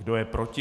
Kdo je proti?